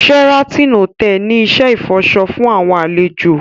Sheraton Hotel ni iṣẹ ifọṣọ fun awọn alejo